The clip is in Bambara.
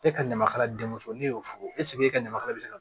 E ka ɲamakaladenw ne y'o fo eseke e ka ɲamakalaya bɛ se ka